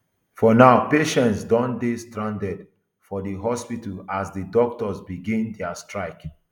for now patients don dey strandedfor di hospital as di doctors begin dia strike